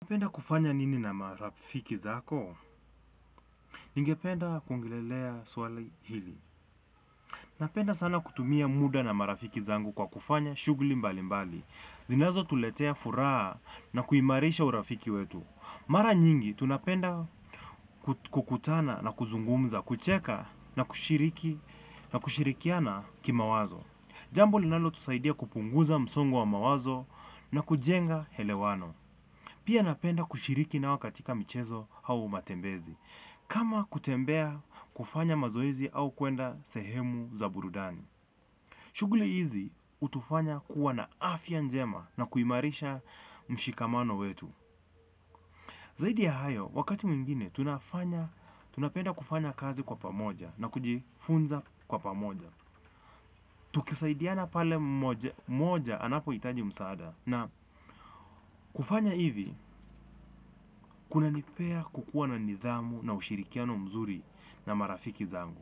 Unapenda kufanya nini na marafiki zako? Ningependa kuongelelea swali hili. Napenda sana kutumia muda na marafiki zangu kwa kufanya shugli mbali mbali. Zinazo tuletea furaha na kuimarisha urafiki wetu. Mara nyingi, tunapenda kukutana na kuzungumza, kucheka na kushiriki na kushirikiana kimawazo. Jambo linalo tusaidia kupunguza msongu wa mawazo na kujenga helewano. Pia napenda kushiriki nao katika michezo hau matembezi. Kama kutembea kufanya mazoezi au kuenda sehemu za burudani. Shughuli hizi utufanya kuwa na afya njema na kuimarisha m shimamano wetu. Zahidi ya hayo tunapenda kufanya kazi kwa pamoja na kujifunza kwa pamoja. Tukisaidiana pale moja anapo itaji msaada. Na kufanya hivi kunanipea kukuwa na nidhamu na ushirikiano mzuri na marafiki zangu.